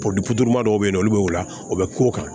Polit dɔw bɛ yen nɔ olu bɛ o la u bɛ k'o kan